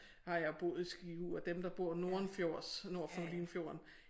Har jeg boet i Skive og dem der bord nordenfjords nord for Limfjorden